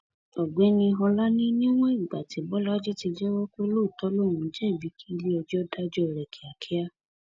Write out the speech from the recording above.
ọgbẹni ọlá ní níwọn ìgbà tí bọlajì ti jẹwọ pé lóòótọ lòún jẹbi kí iléẹjọ dájọ rẹ kíákíá